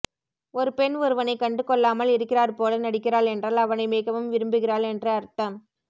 ஒரு பெண் ஒருவனை கண்டு கொள்ளாம்ல் இருக்கிறார் போல நடிக்கிறாள் என்றால் அவனை மிகவும் விரும்புகிறாள் என்று அர்த்தம்